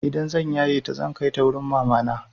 Idan zan yaye ta zan kai ta wurin mamana.